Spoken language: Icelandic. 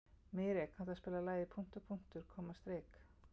Mírey, kanntu að spila lagið „Punktur, punktur, komma, strik“?